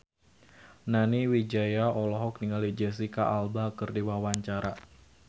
Nani Wijaya olohok ningali Jesicca Alba keur diwawancara